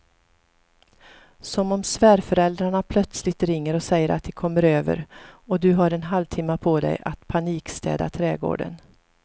Som om svärföräldrarna plötsligt ringer och säger att de kommer över och du har en halvtimme på dig att panikstäda trädgården.